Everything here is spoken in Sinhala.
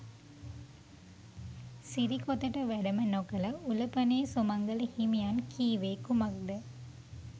සිරිකොතට වැඩම නොකළ උලපනේ සුමංගල හිමියන් කීවේ කුමක්ද?